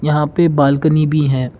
यहां पे बालकनी भी है।